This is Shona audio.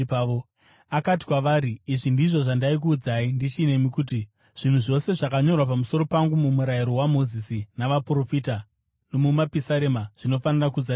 Akati kwavari, “Izvi ndizvo zvandaikuudzai ndichinemi kuti: Zvinhu zvose zvakanyorwa pamusoro pangu muMurayiro waMozisi, naVaprofita nomuMapisarema zvinofanira kuzadziswa.”